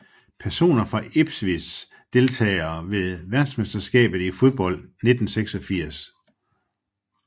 Personer fra Ipswich Deltagere ved verdensmesterskabet i fodbold 1986